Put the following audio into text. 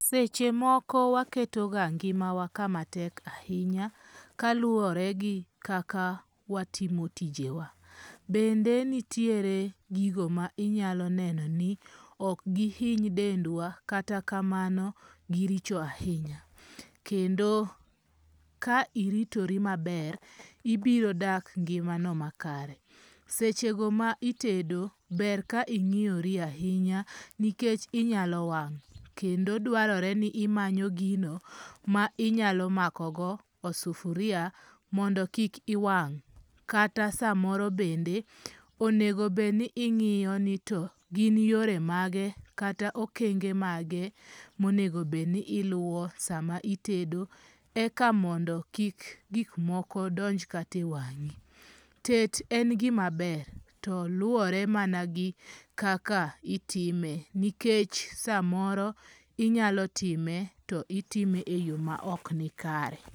Seche moko waketoga ngimawa kamatek ahinya kaluwore gi kaka watimo tijewa. Bende nitiere gigo ma inyalo neno ni ok gihiny dendwa, kata kamano giricho ahinya. Kendo ka iritori maber, ibirodak ngimano makare. Sechego ma itedo ber ka ing'iyori ahinya nikech inyalo wang'. Kendo dwarore ni imanyo gino ma inyalo makogo osufuria mondo kik iwang'. Kata samoro bende, onego bed ni ing'iyo nito gin yore mage, kata okenge mage monego bed ni iluwo sama itedo, eka mondo kik gik moko donj kata mana e wang'i. Tet en gima ber to luwore mana gi kaka itime. Nikech samoro inyalo time to itime eyo maok nikare.